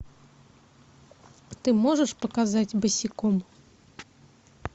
ты можешь показать босиком